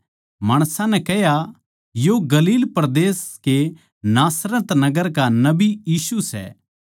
माणसां नै कह्या यो गलील परदेस के नासरत नगर का नबी यीशु सै